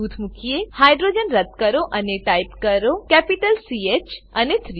hydrogen hydrogen રદ્દ કરો અને ટાઈપ કરો કેપિટલ સી હ અને 3